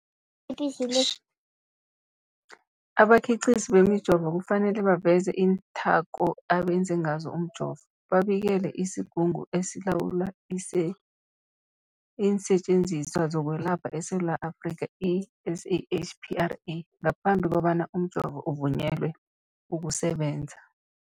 Abakhiqizi bemijovo kufanele baveze iinthako abenze ngazo umjovo, babikele isiGungu esiLawula iinSetjenziswa zokweLapha eSewula Afrika, i-SAHPRA ngaphambi kobana umjovo uvunyelwe ukusebenza.